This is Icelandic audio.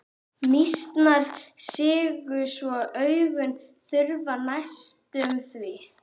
Mýsnar sigu svo augun hurfu næstum því.